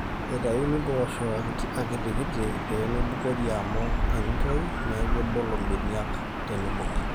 eitayuni impoosho akitikiti pee meibukori amu enetoyu neeku ebolo imbeniak teneibung'i